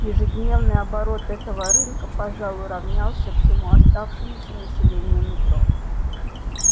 ежедневный оборот этого рынка пожалуй равнялся всему оставшемуся населению метро